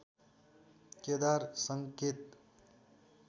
केदार सङ्केत